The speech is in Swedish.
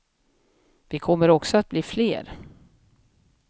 Vi kommer också att bli fler.